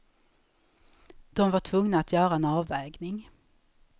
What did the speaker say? De var tvungna att göra en avvägning.